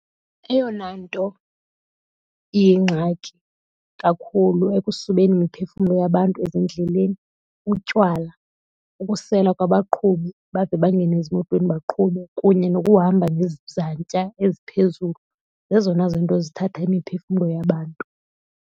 Eyona nto iyingxaki kakhulu ekusubeni imiphefumlo yabantu ezindleleni butywala, ukusela kwabaqhubi bade bangene ezimotweni baqhube kunye nokuhamba ngezantya eziphezulu. Zezona zinto ezithatha imiphefumlo yabantu.